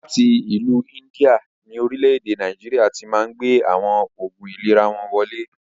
Láti ìlú India ni Orílẹ̀ èdè Nàìjíríà tíì Máà ń gbé àwọn Oògún ìlera wọn wọlé